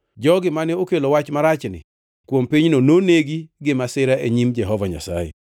jogi mane okelo wach marachni kuom pinyno noneg-gi gi masira e nyim Jehova Nyasaye.